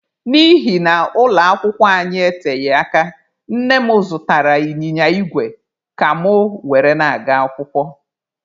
N'ihi na ụlọ akwụkwọ anyị eteghị aka, nne m zụtara ịnyịnya igwe ka mụ were na-aga akwụkwọ.